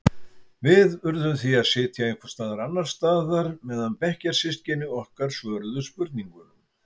Við urðum því að sitja einhvers staðar annars staðar meðan bekkjarsystkini okkar svöruðu spurningunum.